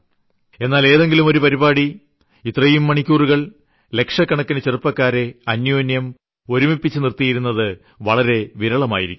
ഒരുപക്ഷേ ഏതെങ്കിലും ഒരു പരിപാടി ഇത്രയും മണിക്കൂറുകൾ ലക്ഷക്കണക്കിന് ചെറുപ്പക്കാരെ അന്യോന്യം ഒരുമിപ്പിച്ചു നിർത്തിയിരുന്നത് വളരെ വിരളമായിരിക്കും